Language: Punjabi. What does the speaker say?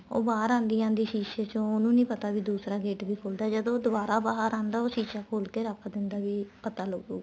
ਉਹ ਬਾਹਰ ਆਂਦੀ ਆਂਦੀ ਸ਼ੀਸੇ ਚੋ ਉਹਨੂੰ ਨਹੀਂ ਪਤਾ ਵੀ ਦੂਸਰਾ gate ਵੀ ਖੁੱਲਦਾ ਜਦੋਂ ਉਹ ਦੁਆਰਾ ਬਾਹਰ ਆਂਦਾ ਉਹ ਸ਼ੀਸਾ ਖੋਲ ਕੇ ਰੱਖ ਦਿੰਦਾ ਏ ਵੀ ਪਤਾ ਲੱਗੂਗਾ